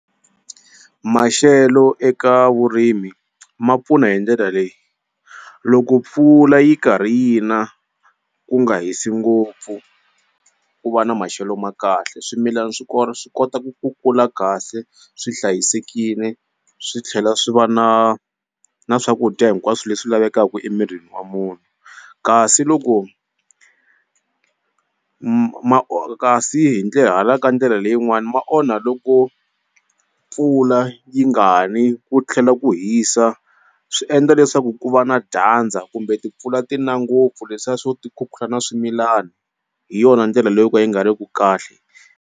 Maxelo eka vurimi ma pfuna hi ndlela leyi loko mpfula yi karhi yi na ku nga hisi ngopfu ku va na maxelo ma kahle swimilana swi swi kota ku ku kula kahle swi hlayisekile swi tlhela swi va na na swakudya hinkwaswo leswi lavekaku emirini wa munhu kasi loko kasi hi ndlela hala ka ndlela leyin'wani ma onha loko mpfula yi nga ni ku tlhela ku hisa swi endla leswaku ku va na dyandza kumbe timpfula ti na ngopfu leswiya swo ti khukhula na swimilani hi yona ndlela leyi yo ka yi nga ri ku kahle.